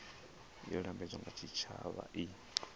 yo lambedzwaho nga tshitshavha i